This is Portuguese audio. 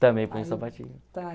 Também põe um sapatinho.